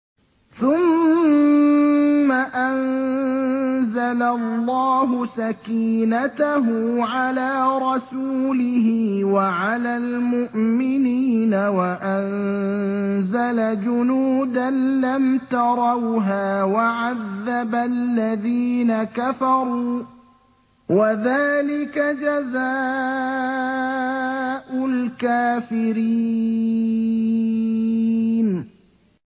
ثُمَّ أَنزَلَ اللَّهُ سَكِينَتَهُ عَلَىٰ رَسُولِهِ وَعَلَى الْمُؤْمِنِينَ وَأَنزَلَ جُنُودًا لَّمْ تَرَوْهَا وَعَذَّبَ الَّذِينَ كَفَرُوا ۚ وَذَٰلِكَ جَزَاءُ الْكَافِرِينَ